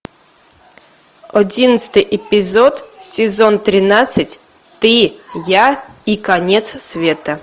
одиннадцатый эпизод сезон тринадцать ты я и конец света